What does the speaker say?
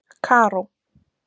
Karó